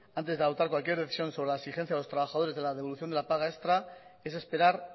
antes de adoptar cualquier decisión sobre la exigencia de los trabajadores de la devolución de la paga extra es esperar